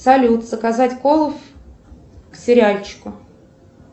салют заказать колу к сериальчику